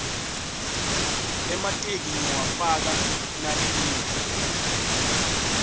emateki ngiwafaka nalina